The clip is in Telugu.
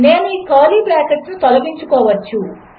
నేనుఈకర్లీబ్రాకెట్లనుతొలగించుకోవచ్చు